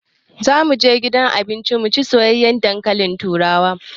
Za mu je gidan cin abinci mu sayi soyayyen dankalin turawa.